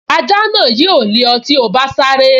Ajá náà yóò lé ọ tí o bá sáré